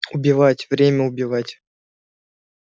убивать время убивать